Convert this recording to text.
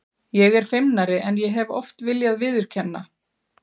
Ég er feimnari en ég hef oft viljað viðurkenna.